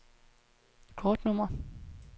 kortnummer